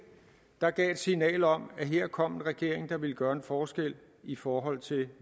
der gav et signal om at her kom en regering der ville gøre en forskel i forhold til